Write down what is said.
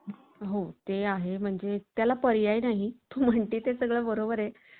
परवडणारी आणि तरीही परिणामकारक ग्राहकसेवा पुरवणाऱ्या BOT कडे companies चा कल वाढत आहे.